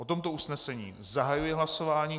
O tomto usnesení zahajuji hlasování.